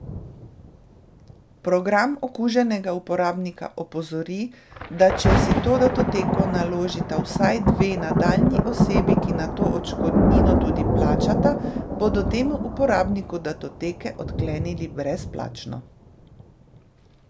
Program okuženega uporabnika opozori, da če si to datoteko naložita vsaj dve nadaljnji osebi, ki nato odškodnino tudi plačata, bodo temu uporabniku datoteke odklenili brezplačno.